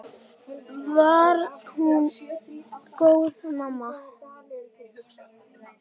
Var hún góð mamma?